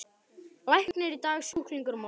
Læknir í dag, sjúklingur á morgun.